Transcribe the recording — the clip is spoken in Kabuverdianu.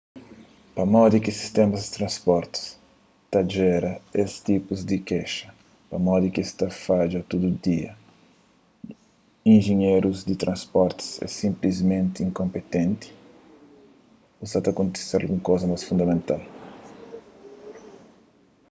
pamodi ki sistémas di transporti ta jera es tipus di kexa pamodi ki es ta fadja tudu dia injinherus di transporti é sinplismenti inkonpinti ô sa ta kontise algun kuza más fundamental